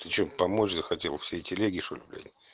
ты что помочь захотел всей телеге что ли блять